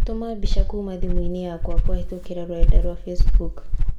tũma mbica kuuma thimũ-inĩ yakwakũhītũkīra rũrenda rũa facebook